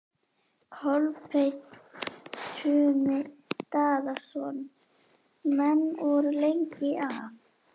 Kolbeinn Tumi Daðason: Menn voru lengi að?